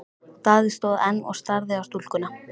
Daði stóð enn og starði á stúlkuna.